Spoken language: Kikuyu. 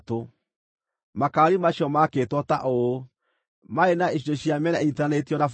Makaari macio maakĩtwo ta ũũ: maarĩ na icunjĩ cia mĩena inyiitithanĩtio na buremu.